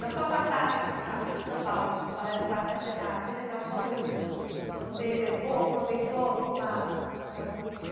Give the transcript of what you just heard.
Na sua passagem aqui em São Paulo, no Balé do Quarto Centenário, teve assim alguma coisa que você levou, aproveitou lá nos Estados Unidos?